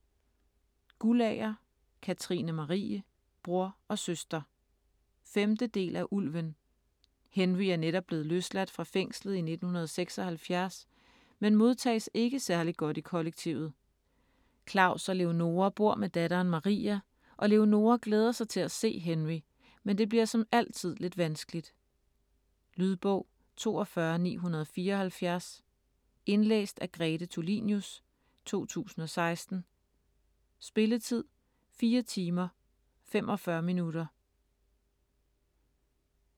Guldager, Katrine Marie: Bror og søster 5. del af Ulven. Henry er netop blevet løsladt fra fængslet i 1976, men modtages ikke særlig godt i kollektivet. Klaus og Leonora bor med datteren Maria, og Leonora glæder sig til at se Henry, men det bliver som altid lidt vanskeligt. Lydbog 42974 Indlæst af Grete Tulinius, 2016. Spilletid: 4 timer, 45 minutter.